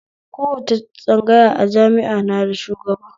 Kowace tsangaya a jami'a na da shugaba